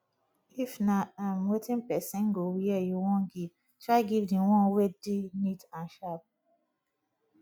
if na um wetin persin go wear you won give try give di one wey de neat and sharp